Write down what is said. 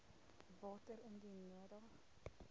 water indien nodig